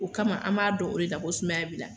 O kama an b'a dɔn o de la ko sumayaya b'i la.